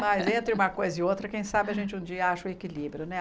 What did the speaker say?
Mas entre uma coisa e outra, quem sabe a gente um dia ache o equilíbrio, né?